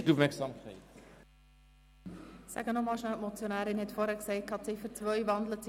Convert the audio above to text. Ich sage es noch einmal kurz, damit wir alle über dasselbe reden: